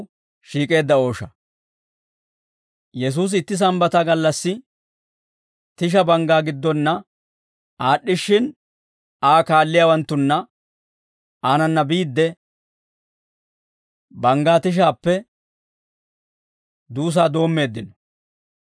Yesuusi itti Sambbata gallassi tisha banggaa giddonna aad'd'ishshin, Aa kaalliyaawanttunna aanana biidde, banggaa tishaappe duusaa doommeeddino.